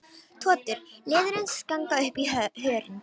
Totur leðursins ganga upp í hörundið.